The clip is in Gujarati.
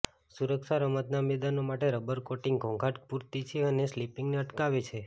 સુરક્ષા રમતનાં મેદાનો માટે રબર કોટિંગ ઘોંઘાટ પૂરતી છે અને સ્લિપિંગને અટકાવે છે